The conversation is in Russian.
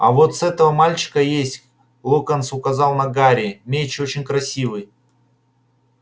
а вотс этого мальчика есть локонс указал на гарри меч очень красивый